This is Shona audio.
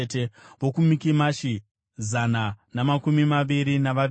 vokuMikimashi, zana namakumi maviri navaviri;